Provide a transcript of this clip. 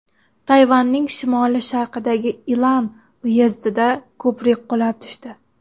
Tayvanning shimoli-sharqidagi Ilan uyezdida ko‘prik qulab tushdi.